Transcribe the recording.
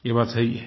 ये बात सही है